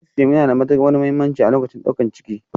Kalsiamu yana da mahimmanci a lokacin daukar ciki